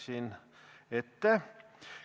Ruttasin ette.